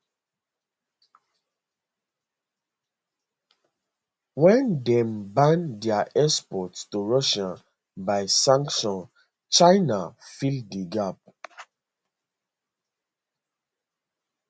wen dem ban dia export to russia by sanction china fill di gap